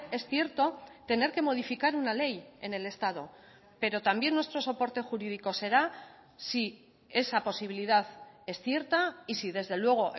es cierto tener que modificar una ley en el estado pero también nuestro soporte jurídico será si esa posibilidad es cierta y si desde luego